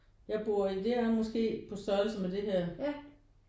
Jeg bor i det er måske på størrelse med det her